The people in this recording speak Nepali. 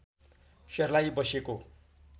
सर्लाही बसेको